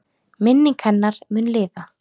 Minning hennar mun lifa.